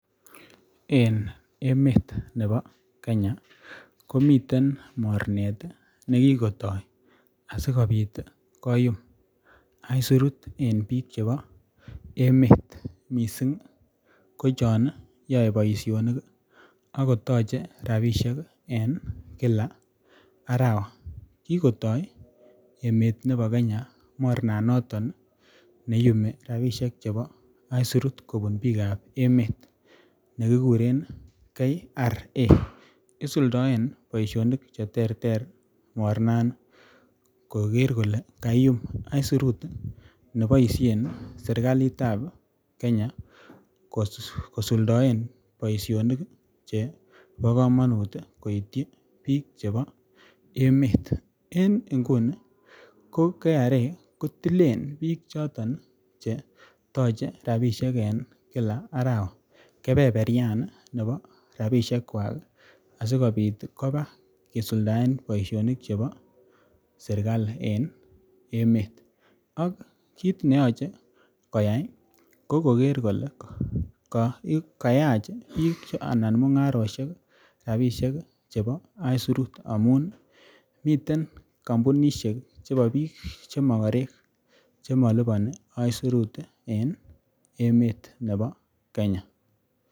Eng emet nebo Kenyakomiten mornet nekikotai ,asikobit koyumi aisurut eng bik chebo emet mising ko chon yae boisyonik akotache rapishek eng Kila arawa ,kikotai emet nebo Kenya ,mornanoton neiumi rapishek chebo isurut kobun bikab emet nekikuren KRA ,isuldoen boisyonik cheterter mornanoton koger kole kaiumbaisurut neboisyen serikalitab Kenya kosuldoen boisyonik chebo kamanut koityi bik chebo emet, eng inguni ko KRA kotilen bik choton chetoche rapishek eng Kila arawa ,kebeberyan nebo rapishekwak asikobit koba kosuldoen boisyonik chebo serikali eng emet ak kit neyoche koyai ko koger kole kayach bik anan mungaroshek rapishek chebo isurut amun miten kampunisheek chebo bik chemakarek chemalipani isurut eng emet nebo Kenya.